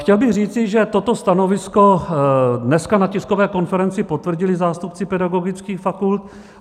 Chtěl bych říci, že toto stanovisko dneska na tiskové konferenci potvrdili zástupci pedagogických fakult.